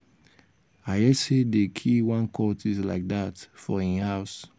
i hear say dey kill one cultist like dat for him house